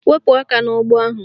Wepu aka n'ụgbọ ahụ!